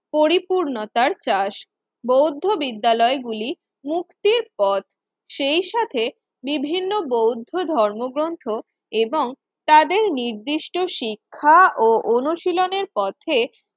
পরিপূর্ণতার চাষ। বৌদ্ধ বিদ্যালয় গুলি মুক্তির পথ সেই সাথে বিভিন্ন বৌদ্ধ ধর্মগ্রন্থ এবং তাদের নির্দিষ্ট শিক্ষা ও অনুশীলনের পথে